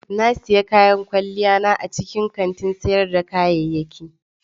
Na sayi kayan kwalliya na a cikin kantin sayar da kayayyaki.